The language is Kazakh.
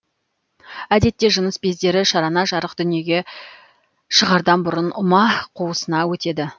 әдетте жыныс бездері шарана жарық дүниеге шығардан бұрын ұма қуысына өтеді